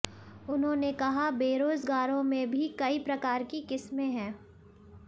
उन्होंने कहा बेरोजगारों में भी कई प्रकार की किस्मे हैं